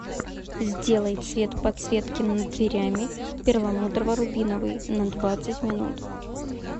сделай цвет подсветки над дверями перламутрово рубиновый на двадцать минут